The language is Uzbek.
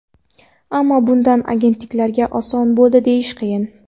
Ammo bundan argentinaliklarga oson bo‘ldi deyish qiyin.